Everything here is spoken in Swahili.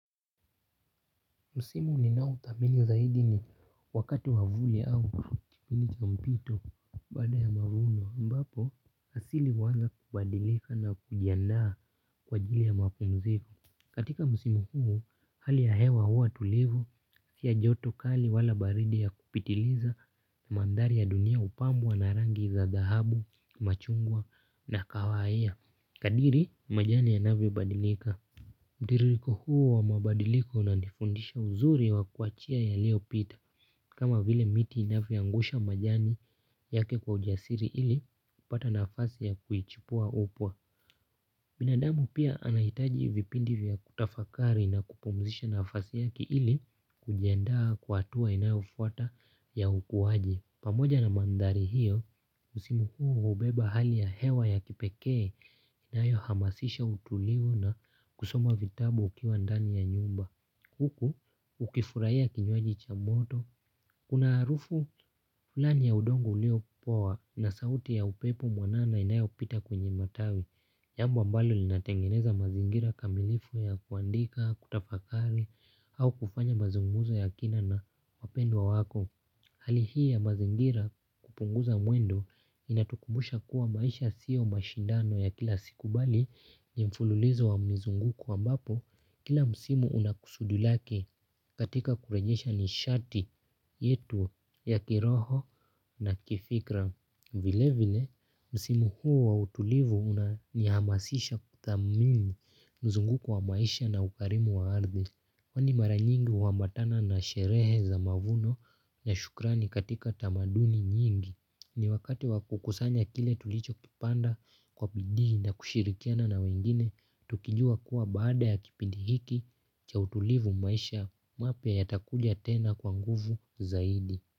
Msimu ni nao thamini zaidi ni wakati wavuli au kipinika mpito bada ya mavuno mbapo asili huanza kubadilika na kujia naa kwa jili ya makunzevu. Katika msimu huu hali ya hewa huwa tulivu si ya joto kali wala baridi ya kupitiliza na mandhari ya dunia hupambwa na rangi za dahabu, machungwa na kawaia. Kadri majani yanavyo badilika, mtiririko huu wa mabadiliko unandifundisha uzuri wa kuachia yaliopita. Kama vile miti inavyo angusha majani yake kwa ujasiri ili upata nafasi ya kujichipua upya. Binadamu pia anahitaji vipindi vya kutafakari na kupumzisha nafasi yaki ili kujiandaa kwa hatua inayofuata ya ukuaji. Pamoja na mandhari hiyo, msimu huu hubeba hali ya hewa ya kipekee inayo hamasisha utulivu na kusoma vitabu ukiwa ndani ya nyumba. Huku, ukifurahia kinywaji cha moto. Kuna harufu, fulani ya udogo ulio poa na sauti ya upepo mwanana inayopita kwenye matawi. Jambo mbalo linatengeneza mazingira kamilifu ya kuandika, kutafakari au kufanya mazungumzo ya kina na wapendwa wako. Hali hii ya mazingira hupunguza mwendo INATUKUMA, busha kuwa maisha siyo mashindano ya kila siku bali ni mfululizo wa mzunguko wa mbapo kila msimu una kusudi lake katika kurejesha nishati yetu ya kiroho na kifikra. Vile vile, msimu huu wa utulivu una nihamasisha kuthamini mzunguko wa maisha na ukarimu wa ardhi. Kwani mara nyingi huambatana na sherehe za mavuno na shukrani katika tamaduni nyingi. Ni wakati wa kukusanya kile tulicho kipanda kwa pidi na kushirikiana na wengine, tukijua kuwa baada ya kipindi hiki cha utulivu maisha mapya yatakuja tena kwa nguvu zaidi.